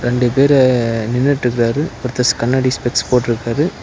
ரெண்டு பேரு நின்னுட்டு இருக்காரு ஒருத்தர் கண்ணாடி ஸ்பெக்ஸ் போட்ருக்காரு.